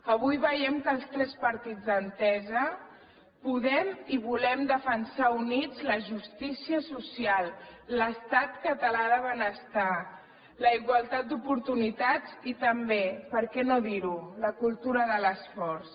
avui veiem que els tres partits d’entesa podem i volem defensar units la justícia social l’estat català de benestar la igualtat d’oportunitats i també per què no dirho la cultura de l’esforç